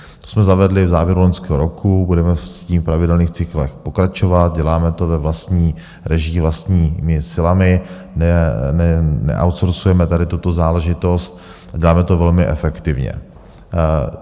To jsme zavedli v závěru loňského roku, budeme s tím v pravidelných cyklech pokračovat, děláme to ve vlastní režii, vlastními silami, neoutsourcujeme tady tuto záležitost, děláme to velmi efektivně.